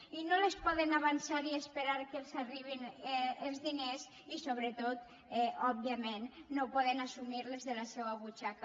i no les poden avançar i esperar que els arribin els diners i sobretot òbviament no poden assumir les de la seua butxaca